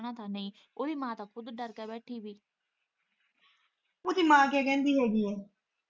ਉਹ ਦੀ ਮਾਂ ਕੇ ਕਹਿੰਦੀ ਹੈਗੀ।